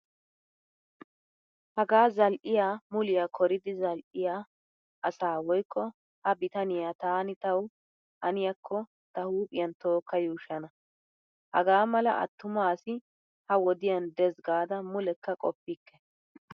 Hagaa zal'yaa muliyaa koridi zal'yaa asaa woykko ha bitaniya taani tawu haniyaakko ta huuphiyan tookka yuushshana. Hagaa mala attuma asi ha wodiyan deesi gaada mullekka qoppikke.